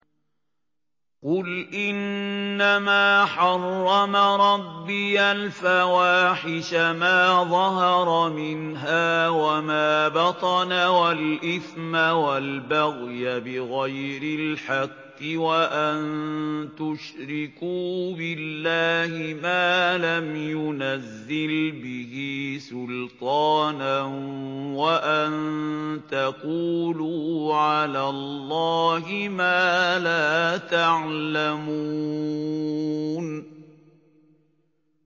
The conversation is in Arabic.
قُلْ إِنَّمَا حَرَّمَ رَبِّيَ الْفَوَاحِشَ مَا ظَهَرَ مِنْهَا وَمَا بَطَنَ وَالْإِثْمَ وَالْبَغْيَ بِغَيْرِ الْحَقِّ وَأَن تُشْرِكُوا بِاللَّهِ مَا لَمْ يُنَزِّلْ بِهِ سُلْطَانًا وَأَن تَقُولُوا عَلَى اللَّهِ مَا لَا تَعْلَمُونَ